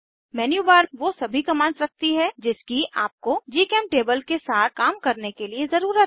menu bar वो सभी commands रखती है जिसकी आपको जीचेमटेबल के साथ काम करने के लिए ज़रुरत है